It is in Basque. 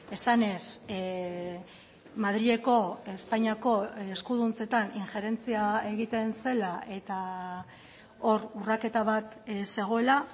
esanez madrileko espainiako eskuduntzetan injerentzia egiten zela eta hor urraketa bat zegoela